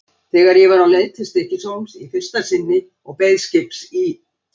Þegar ég var á leið til Stykkishólms í fyrsta sinni og beið skips í